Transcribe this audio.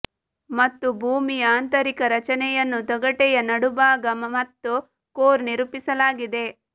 ಮತ್ತು ಭೂಮಿಯ ಆಂತರಿಕ ರಚನೆಯನ್ನು ತೊಗಟೆಯ ನಡುಭಾಗ ಮತ್ತು ಕೋರ್ ನಿರೂಪಿಸಲಾಗಿದೆ